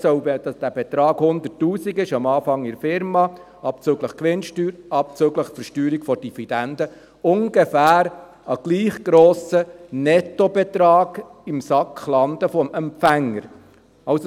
Auch dort soll dieser Betrag, der in der Unternehmung am Anfang 100 000 Franken beträgt, abzüglich Gewinnsteuer, abzüglich der Versteuerung der Dividende, als ungefähr als gleich grosser Nettobetrag im Sack des Empfängers landen.